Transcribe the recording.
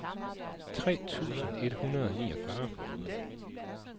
tre tusind et hundrede og niogfyrre